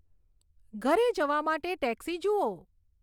ઘરે જવા માટે ટેક્સી જુઓ